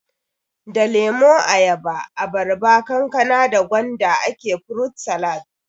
Da lemo, ayaba, abarba, kankana da gwanda ake furut salat